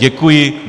Děkuji.